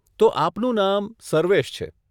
તો આપનું નામ સર્વેશ છે.